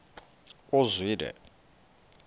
uzwide